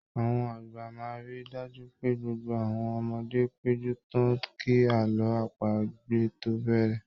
Àwọn àgbà máa ríi dájú pé gbogbo àwọn ọmọdé péjú tán kí àlọ́ àpagbè tó bẹ̀rẹ̀.